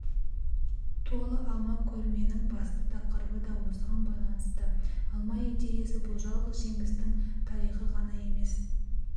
толы алма көрменің басты тақырыбы да осыған байланысты алмаидеясы бұл жалғыз жемістің тарихы ғана емес